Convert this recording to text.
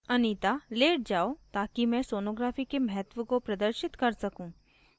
anita लेट जाओ ताकि मैं sonography के महत्व को प्रदर्शित कर सकूँ